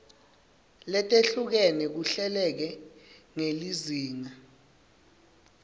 letehlukene kuhleleke ngelizinga